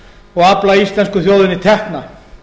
og afla íslensku þjóðinni tekna